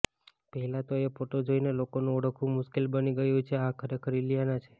પહેલા તો એ ફોટો જોઇને લોકોનું ઓળખવું મુશ્કેલ બની ગયું કે આ ખરેખર ઈલીયાના છે